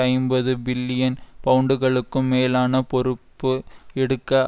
ஐம்பது பில்லியன் பவுண்டுகளுக்கும் மேலான பொறுப்பை எடுக்க